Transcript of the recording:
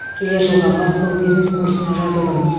келер жылға бастау бизнес курсына жазылдым